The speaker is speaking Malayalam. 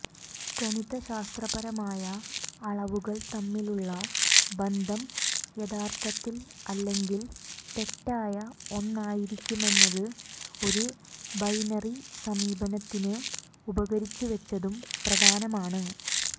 ഗണിതശാസ്ത്രപരമായ അളവുകൾ തമ്മിലുള്ള ബന്ധം യഥാർഥത്തിൽ അല്ലെങ്കിൽ തെറ്റായ ഒന്നായിരിക്കുമെന്നത് ഒരു ബൈനറി സമീപനത്തിന് ഉപകരിച്ചുവെച്ചതും പ്രധാനമാണ്